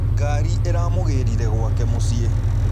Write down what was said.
Ngari ĩramũgĩrire gwake mũciĩ.